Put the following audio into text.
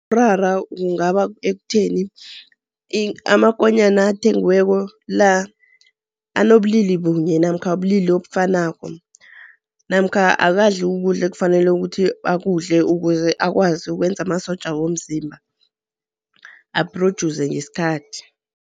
Umraro kungaba ekutheni amakonyana athengweko la anobulili bunye namkha ubulili obufanako. Namkha akadli ukudla ekufanele ukuthi akudle, ukuze akwazi ukwenza amasotja womzimba, a-producer ngesikhathi.